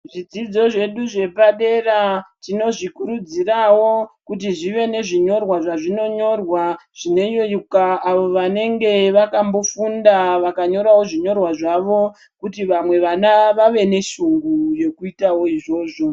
Zvidzidzo zvedu zvepadera, tinozvikurudzirawo kuti zvive nezvinyorwa zvazvinonyorwa zvinoyeuka avo vanenge vakambofunda vakanyorawo zvinyorwa zvavo, kuti vamwe vana vave neshungu yekuitawo izvozvo.